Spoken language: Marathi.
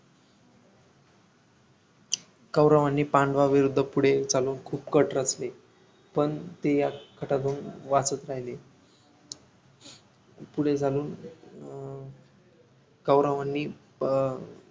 कौरवांनी पांडवांविरुद्ध पुढे चालून खूप कट रचले पण ते या कटातून वाचत राहिले पुढे चालून अं कौरवांनी